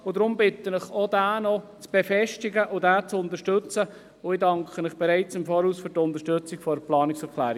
Deshalb bitte ich Sie, auch diesen zu stärken und zu unterstützen, und ich bedanke mich bei Ihnen bereits im Voraus für die Unterstützung der Planungserklärung.